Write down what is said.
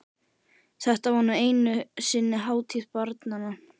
Þetta var nú einu sinni hátíð barnanna!